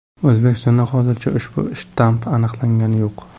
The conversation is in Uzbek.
O‘zbekistonda hozircha ushbu shtamm aniqlangani yo‘q .